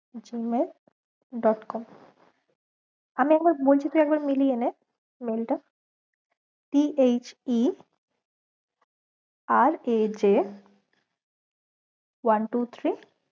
gmail dot com আমি একবার বলছি তুই একটু মিলিয়ে নে mail টা t h e r a j one two three